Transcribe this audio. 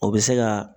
O bɛ se ka